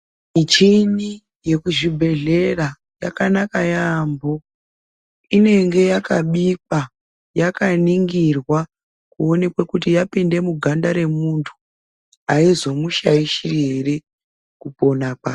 Michini yekuzvibhehleya yakanaka yamho inenge yakabikwa yakaningirwa kuonekwe kuti yapinde muganda remuntu aizomushaishi ere kupona kwake.